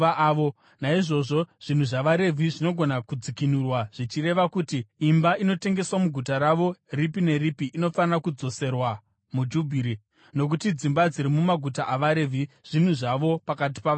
Naizvozvo zvinhu zvavaRevhi zvinogona kudzikinurwa, zvichireva kuti imba inotengeswa muguta ravo ripi neripi inofanira kudzoserwa muJubhiri, nokuti dzimba dziri mumaguta avaRevhi zvinhu zvavo pakati pavaIsraeri.